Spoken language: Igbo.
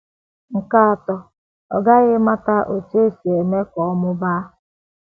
Nke atọ, ọ ghaghị ịmata otú e si eme ka ọ mụbaa.